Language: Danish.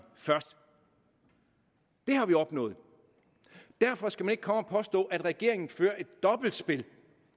først det har vi opnået derfor skal man ikke komme og påstå at regeringen fører et dobbeltspil